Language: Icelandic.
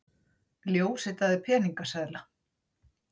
Ljósritaði peningaseðla